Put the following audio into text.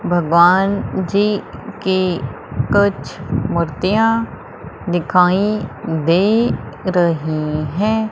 भगवान जी की कुछ मूर्तियां दिखाई दे रही हैं।